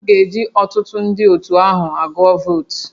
A ga-eji ọtụtụ ndị otu ahụ agụọ votu